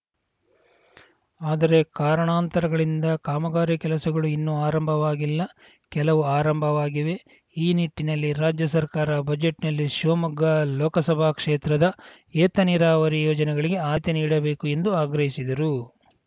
ಆದರೆ ಕಾರಣಾಂತರಗಳಿಂದ ಕಾಮಗಾರಿ ಕೆಲಸಗಳು ಇನ್ನು ಆರಂಭವಾಗಿಲ್ಲ ಕೆಲವು ಆರಂಭವಾಗಿವೆ ಈ ನಿಟ್ಟಿನಲ್ಲಿ ರಾಜ್ಯ ಸರ್ಕಾರ ಬಜೆಟ್‌ನಲ್ಲಿ ಶಿವಮೊಗ್ಗ ಲೋಕಸಭಾ ಕ್ಷೇತ್ರದ ಏತ ನೀರಾವರಿ ಯೋಜನೆಗಳಿಗೆ ಆದ್ಯತೆ ನೀಡಬೇಕು ಎಂದು ಆಗ್ರಹಿಸಿದರು